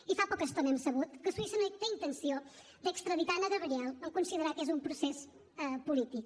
i fa poca estona hem sabut que suïssa no té intenció d’extradir anna gabriel en considerar que és un procés polític